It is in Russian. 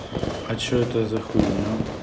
а что это за хуйня